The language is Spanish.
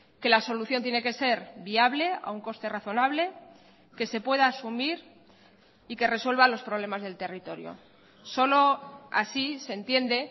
que la solución tiene que ser viable a un coste razonable que se pueda asumir y que resuelva los problemas del territorio solo así se entiende